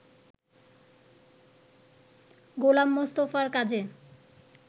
গোলাম মোস্তফার কাজে